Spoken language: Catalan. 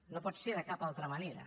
no pot ser de cap altra manera